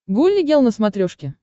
гулли гел на смотрешке